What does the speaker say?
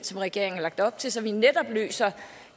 som regeringen har lagt op til så vi netop løser